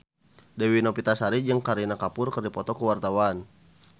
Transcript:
Dewi Novitasari jeung Kareena Kapoor keur dipoto ku wartawan